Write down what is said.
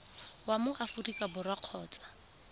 wa mo aforika borwa kgotsa